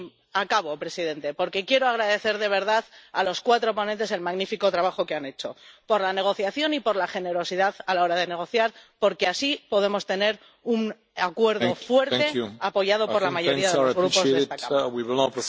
Y acabo, señor presidente, porque quiero agradecer, de verdad, a los cuatro ponentes el magnífico trabajo que han hecho por la negociación y por la generosidad a la hora de negociar, porque así podemos tener un acuerdo fuerte, apoyado por la mayoría de los grupos de esta Cámara.